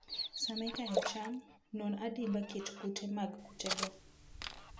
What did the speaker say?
Sama ikayo cham, non adimba kit kute mag kutego.